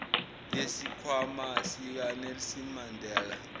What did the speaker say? yesikhwama sikanelson mandela